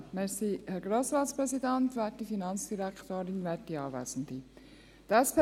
Zuerst gebe ich für die SP-JUSO-PSA Andrea Rüfenacht das Wort.